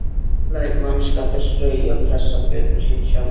Læt mannskapinn strauja og pressa fötin sín sjálfan.